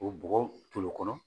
K'o bɔgɔ toli o kɔnɔ